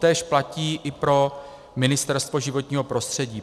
Totéž platí i pro Ministerstvo životního prostředí.